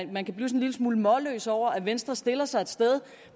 lille smule målløs over at venstre stiller sig et sted